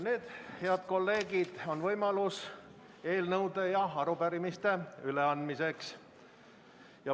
Nüüd, head kolleegid, on võimalus eelnõude ja arupärimiste üleandmiseks.